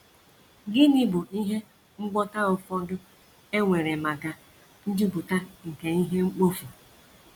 Gịnịzi bụ ihe ngwọta ụfọdụ e nwere maka njupụta nke ihe mkpofu?